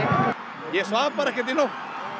ég svaf bara ekkert í nótt